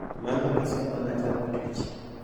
Mano gisemana chako tich.